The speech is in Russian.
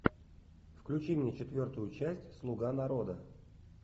включи мне четвертую часть слуга народа